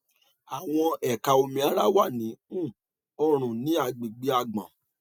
àwọn ẹka omi ara wà ní um ọrùn ní agbègbè àgbọn